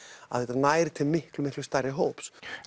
þetta nær til miklu miklu stærri hóps